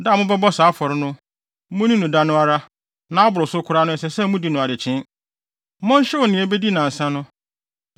Da a mobɛbɔ saa afɔre no, munni no da no ara, na aboro so koraa na ɛsɛ sɛ mudi no adekyee. Monhyew nea ebedi nnansa no.